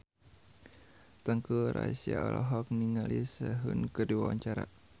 Teuku Rassya olohok ningali Sehun keur diwawancara